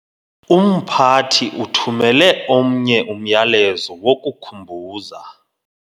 Umphathi uthumele omnye umyalezo wokukhumbuza